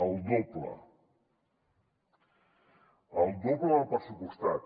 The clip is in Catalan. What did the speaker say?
el doble el doble del pressupostat